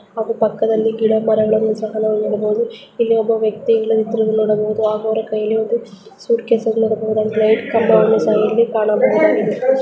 ಅದು ಪಕ್ಕದಲ್ಲಿ ಗಿಡ ಮರಗಳುನ್ನೂ ಸಹ ನಾವು ನೋಡಬಹುದು ನೀವು ಒಬ್ಬ ವ್ಯಕ್ತಿ ಇಲ್ಲಿ ನಿಂತಿರುವುದನ್ನ ನೋಡಬಹುದು ಹಾಗೂ ಅವರ ಕೈಯಲ್ಲಿ ಒಂದು ಸುಟ್ಕೇಶನ್ನು ನೋಡಬಹುದು ಕಂಬವನ್ನು ಸಹ ನೋಡಬಹುದಾಗಿದೆ.